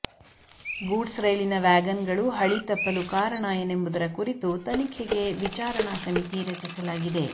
goods ರೈಲಿನ ವ್ಯಾಗನ್ಗಳು ಹಳಿ ತಪ್ಪಲು ಕಾರಣ ಏನೆಂಬುದರ ಕುರಿತು ತನಿಖೆಗೆ ವಿಚಾರಣಾ ಸಮಿತಿ ರಚಿಸಲಾಗಿದೆ